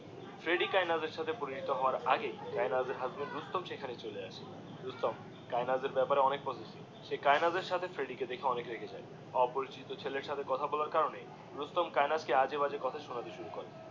Freddy কায়েনাথের সাথে পরিচিত হওয়ার আগেই কায়েনাথ এর হাসবেন্ড রুস্তম সেখানে হলে আসে রুস্তম কায়েনাথের বেপারে অনেক পজেসিভ, সে কায়েনাথের সাথে ফ্রেড্ডি কে দেখে অনেক রেগে যাই অপরিচিত সেলের সাথে কথা বলার করে রুস্তম কায়েনাথ ক আজে বাজে কথা শোনাতে শুরু করে দিয়ে